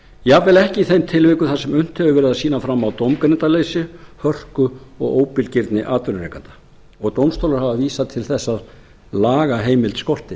jafnvel ekki í þeim tilvikum þar sem unnt hefur verið að sýna fram á dómgreindarleysi hörku og óbilgirni atvinnurekanda og dómstólar hafa vísað til þess að lagaheimild skorti